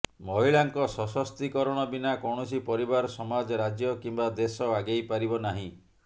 ମହିଳାଙ୍କ ସଶକ୍ତୀକରଣ ବିନା କୌଣସି ପରିବାର ସମାଜ ରାଜ୍ୟ କିମ୍ବା ଦେଶ ଆଗେଇ ପାରିବ ନାହିଁ